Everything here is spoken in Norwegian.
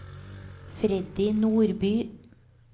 Freddy Nordby